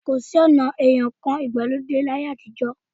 Kò sí ọ̀na ìyan ǹkan ìgbàlódé ní ayé àtijọ́